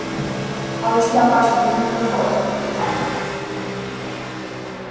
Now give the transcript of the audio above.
а у тебя в аське ник какой